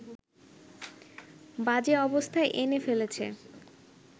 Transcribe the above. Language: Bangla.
বাজে অবস্থায় এনে ফেলেছে